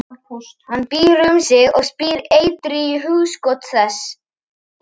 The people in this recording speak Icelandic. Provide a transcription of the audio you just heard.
Hann býr um sig og spýr eitri í hugskot þess.